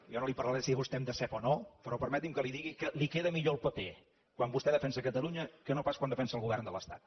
jo no li parlaré de si vostè em decep o no però permeti’m que li digui que li queda millor el paper quan vostè defensa catalunya que no pas quan defensa el govern de l’estat